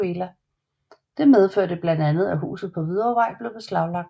Dette medførte blandt andet at huset på Hvidovrevej blev beslaglagt